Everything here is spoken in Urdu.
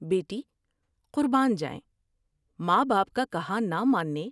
بیٹی ، قربان جائیں ، ماں باپ کا کہا نہ ماننے